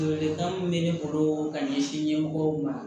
Ladilikan min bɛ ne bolo ka ɲɛsin ɲɛmɔgɔw ma